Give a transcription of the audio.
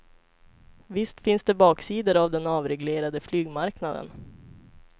Visst finns det baksidor av den avreglerade flygmarknaden.